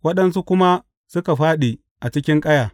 Waɗansu kuma suka fāɗi a cikin ƙaya.